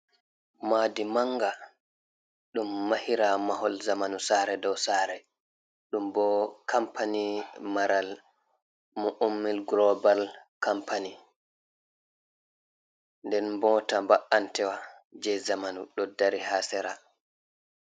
Maadi manga ɗum mahira mahol zamanu, saare dow saare ɗum bo kampany maral mo Ummil Global compani. Den bota ba’antewa je zamanu ɗo dari ha sera.